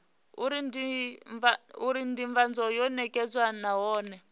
uri ndivhadzo yo nekedzwa nahone